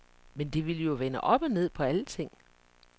Men det ville jo vende op og ned på alting